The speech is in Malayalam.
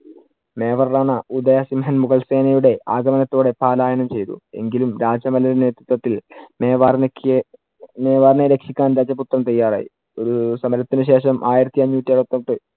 മേവർലാന ഉദയ സിംഹൻ മുഗൾ സേനയുടെ ആഗമനത്തോടെ പാലായനം ചെയ്തു. എങ്കിലും രാജ്യ നേതൃത്വത്തിൽ മേവാറിനെ കീ~ മേവാറിനെ രക്ഷിക്കാൻ രാജപുത്രൻ തയ്യാറായി. ഒരു സമരത്തിനു ശേഷം ആയിരത്തി അഞ്ഞൂറ്റി അറുപത്തെട്ട്